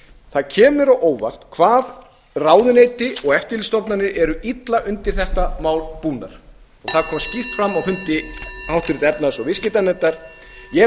það kemur á óvart hvað ráðuneyti og eftirlitsstofnanir eru illa undir þetta mál búnar og það kom skýrt fram á fundi háttvirtrar efnahags og viðskiptanefndar ég hef